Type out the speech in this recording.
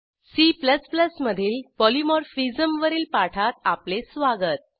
C मधील polymorphism वरील पाठात आपले स्वागत